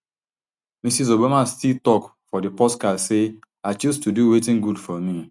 mrs obama still tok for di podcast say i choose to do wetin good for me